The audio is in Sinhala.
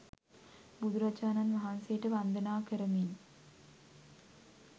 බුදුරජාණන් වහන්සේට වන්දනා කරමින්